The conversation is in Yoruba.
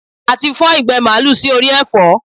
A ti fọ́n ìgbẹ́ màlúù sí orí ẹ̀fọ́.